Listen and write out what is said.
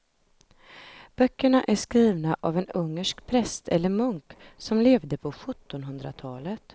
Böckerna är skrivna av en ungersk präst eller munk som levde på sjuttonhundratalet.